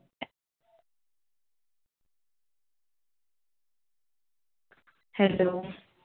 Hello